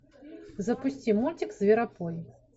запусти мультик зверопой